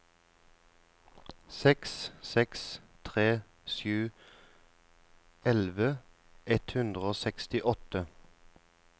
seks seks tre sju elleve ett hundre og sekstiåtte